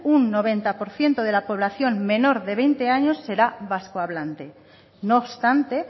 un noventa por ciento de la población menos de veinte años será vascohablante no obstante